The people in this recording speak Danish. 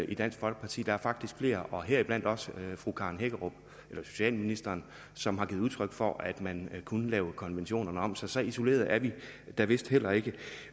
i dansk folkeparti der er faktisk flere heriblandt også socialministeren som har givet udtryk for at man kunne lave konventionerne om så så isolerede er vi da vist heller ikke